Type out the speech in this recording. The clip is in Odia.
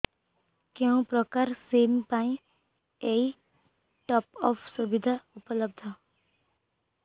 କେଉଁ ପ୍ରକାର ସିମ୍ ପାଇଁ ଏଇ ଟପ୍ଅପ୍ ସୁବିଧା ଉପଲବ୍ଧ